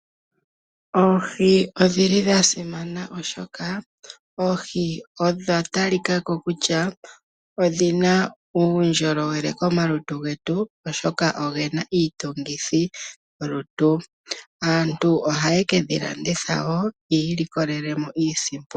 Oohi odhili dha simana oshoka oohi odha talikako kutya odhina uundjolowele komalutu getu oshoka ogena iitungithilutu. Aantu ohaye kedhi landitha wo twiilikolelemo iisimpo.